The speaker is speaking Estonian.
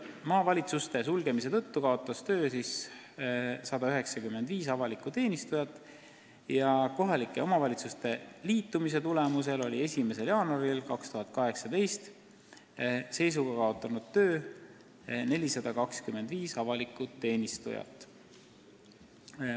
Maavalitsuste sulgemise tõttu kaotas töö 195 avalikku teenistujat ja kohalike omavalitsuste liitumise tõttu oli seisuga 1. jaanuar 2018 töö kaotanud 425 avalikku teenistujat.